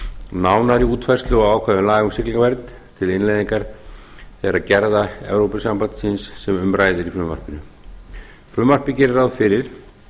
nánari útfærslu á ákvæðum laga um siglingavernd fyrir innleiðingar þeirra gerða evrópusambandsins sem um ræðir í frumvarpinu frumvarpið gerir ráð fyrir